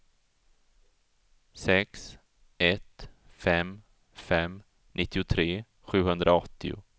sex ett fem fem nittiotre sjuhundraåttio